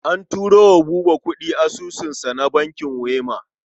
An turo wa Buba kuɗi cikin asusunsa na bankin Wema.